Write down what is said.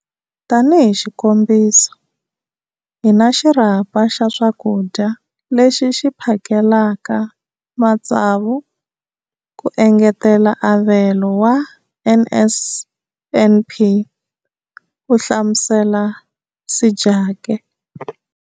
Tanihi xikombiso, hi na xirhapa xa swakudya lexi xi phakelaka matsavu ku engetela avelo wa NSNP, ku hlamusela Sejake.